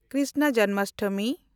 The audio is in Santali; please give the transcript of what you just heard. ᱠᱨᱤᱥᱱᱟ ᱡᱚᱱᱢᱟᱥᱴᱚᱢᱤ